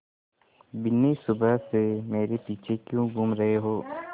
बिन्नी सुबह से मेरे पीछे क्यों घूम रहे हो